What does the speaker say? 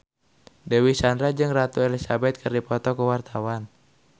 Dewi Sandra jeung Ratu Elizabeth keur dipoto ku wartawan